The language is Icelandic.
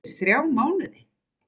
Eftir þrjá mánuði?